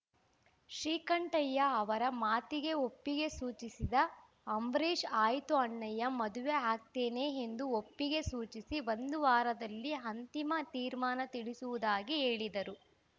ಶ್ರೀಕಂಠಯ್ಯ ಅವರ ಮಾತಿಗೆ ಒಪ್ಪಿಗೆ ಸೂಚಿಸಿದ ಅಂಬರೀಶ್‌ ಆಯ್ತು ಅಣ್ಣಯ್ಯ ಮದುವೆ ಆಗ್ತೇನೆ ಎಂದು ಒಪ್ಪಿಗೆ ಸೂಚಿಸಿ ಒಂದು ವಾರದಲ್ಲಿ ಅಂತಿಮ ತೀರ್ಮಾನ ತಿಳಿಸುವುದಾಗಿ ಹೇಳಿದರು